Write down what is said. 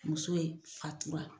Muso in fatura